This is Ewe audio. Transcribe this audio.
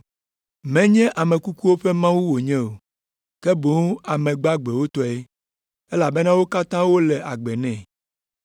Menye ame kukuwo ƒe Mawu wònye o, ke boŋ ame gbagbewo tɔe, elabena wo katã wole agbe nɛ.”